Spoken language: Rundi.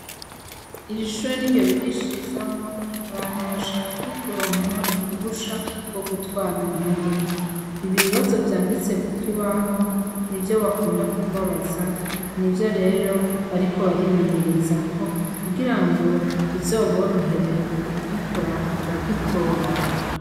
Iri shure n'iryo bigishirizamwo abantu bashaka kuronka uruhusha rwo gutwara imodoka, ibibazo vyanditse ku kibaho n'ivyo bakunda kubabaza, n'ivyo rero bariko barimenyerezako kugira ngo bizoborohere kugikora bakagitora.